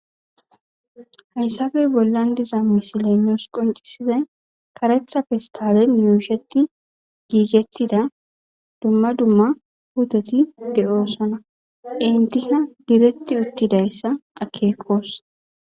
Hayssabee bollan diza misile nuusqoncisizay karetta fistale e yuusheti giigettida dumma dumma pitet de'oossana intisa diretti uttidayssa akeekkos.